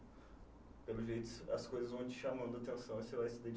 Pelo jeito, as coisas vão te chamando a atenção, você vai se